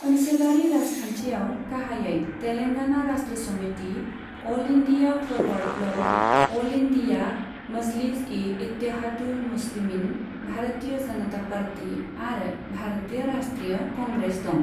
ओनसोलारि राजखान्थियाव गाहायै Telangana Rashtra Samiti, all India forward bloc, all India Majlis e Ittehadul Muslimeen, Bharatiya Janata party आरो भारतीय राष्ट्रीय कांग्रेस दं।